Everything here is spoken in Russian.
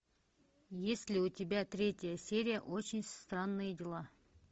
есть ли у тебя третья серия очень странные дела